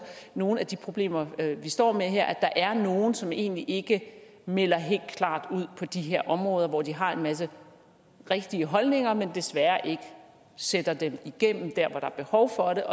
nogle af de problemer vi står med her er nogle som egentlig ikke melder helt klart ud på de her områder hvor de har en masse rigtige holdninger men desværre ikke sætter dem igennem der er behov for det